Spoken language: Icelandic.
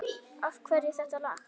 Af hverju þetta lag?